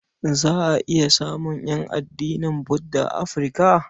Za a iya samun ƴan addinin Budda a Afirka.